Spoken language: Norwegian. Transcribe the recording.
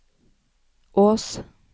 Ås